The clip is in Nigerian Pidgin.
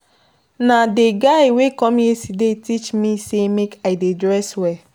Na dey guy wey come yesterday teach me sey make I dey dress well.